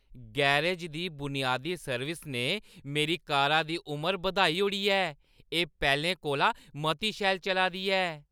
Garage दी बुनियादी service ने मेरी कारा दी उमर बधाई ओड़ी ऐ; एह् पैह्‌लें कोला मती शैल चला दी ऐ!